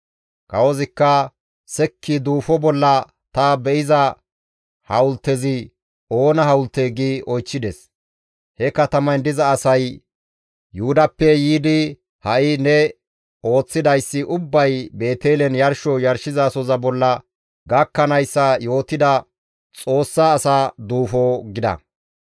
Kawozikka, «Sekki duufo bolla ta be7iza hawultezi oona hawultee?» gi oychchides. He katamayn diza asay, «Yuhudappe yiidi ha7i ne ooththidayssi ubbay Beetelen yarsho yarshizasohoza bolla gakkanayssa yootida Xoossa asa duufo» gida.